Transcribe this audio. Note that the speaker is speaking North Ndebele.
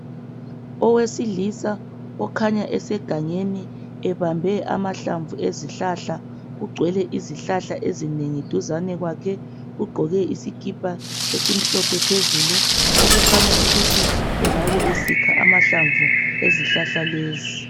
Owesilisa okhanya esegangeni ebambe amahlamvu ezihlahla kugcwele izihlahla ezinengi duzane kwakhe ugqoke isikipa esimhlophe phezulu okukhanya ukuthi engabe esikha amahlamvu ezihlahla lezi